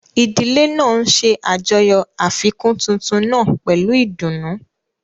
Ìdílé náà ń ṣe àjọyọ̀ àfikún tuntun náà pẹ̀lú ìdùnnú.